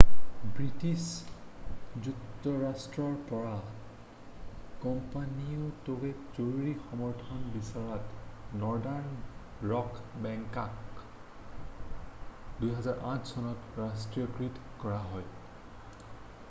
British যুক্তৰাষ্ট্ৰৰ পৰা কোম্পানীটোৱে জৰুৰী সমৰ্থন বিচৰাত নৰ্দান ৰক বেংকটোক 2008 চনত ৰাষ্ট্ৰীয়কৃত কৰা হয়